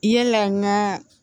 Yala n gaa